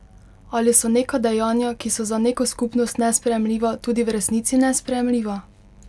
Ali so neka dejanja, ki so za neko skupnost nesprejemljiva, tudi v resnici nesprejemljiva?